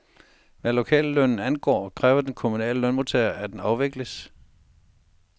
Hvad lokallønnen angår, kræver de kommunale lønmodtagere, at den afvikles.